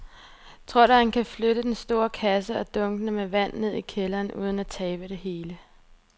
Tror du, at han kan flytte den store kasse og dunkene med vand ned i kælderen uden at tabe det hele?